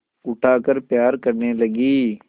उठाकर प्यार करने लगी